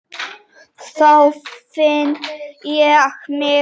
Þá finn ég mig.